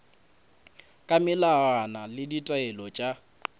ka melawana le ditaelo tša